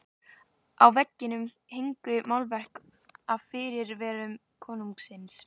Á veggjum héngu málverk af fyrirrennurum konungsins.